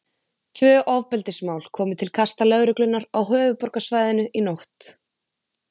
Tvö ofbeldismál komu til kasta Lögreglunnar á höfuðborgarsvæðinu í nótt.